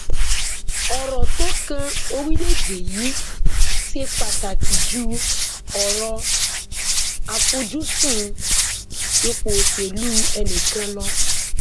ọrọ tó kan orílẹèdè yìí ṣe pàtàkì ju ọrọ àfojúsùn ipò òṣèlú ẹnikẹni lọ